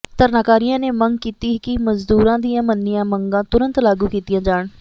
ਧਰਨਾਕਾਰੀਆਂ ਨੇ ਮੰਗ ਕੀਤੀ ਕਿ ਮਜ਼ਦੂਰਾਂ ਦੀਆਂ ਮੰਨੀਆਂ ਮੰਗਾਂ ਤੁਰੰਤ ਲਾਗੂ ਕੀਤੀਆਂ ਜਾਣ